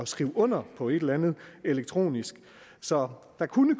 skrive under på et eller andet elektronisk så der kunne